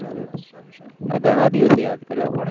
ઘણા દિવસે યાદ કર્યા પણ હો યાર